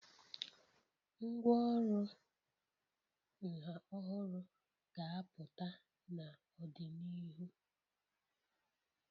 Ngwá ọrụ nha ọhụrụ ga-apụta n'ọdịnihu.